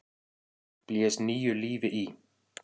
blés nýju lífi í.